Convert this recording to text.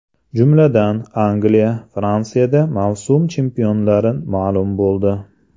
Jumladan, Angliya, Fransiyada mavsum chempionlari ma’lum bo‘ldi.